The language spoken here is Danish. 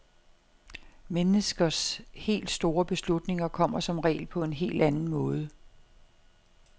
Menneskers helt store beslutninger kommer som regel på en helt anden måde.